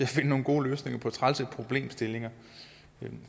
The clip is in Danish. finde nogle gode løsninger på trælse problemstillinger